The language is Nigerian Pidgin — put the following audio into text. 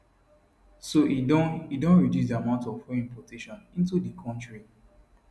so e don e don reduce di amount of fuel importation into di kontri